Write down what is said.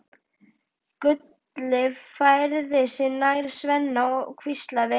Gulli færði sig nær Svenna og hvíslaði